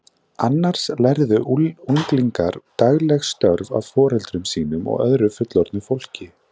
Annars lærðu unglingar dagleg störf af foreldrum sínum og öðru fullorðnu fólki.